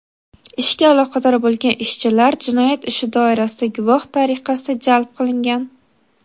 ishga aloqador bo‘lgan ishchilar jinoyat ishi doirasida guvoh tariqasida jalb qilingan.